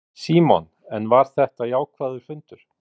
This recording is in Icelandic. Símon: En var þetta jákvæður fundur?